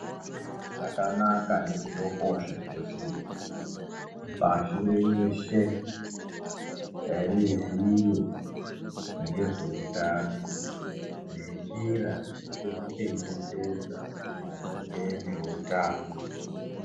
Zvakanaka nekutokosha kuti pashi reshe riziye ngezveutano nenjira dzekuzvichengetedza maringe neutano.